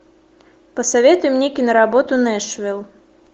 посоветуй мне киноработу нэшвилл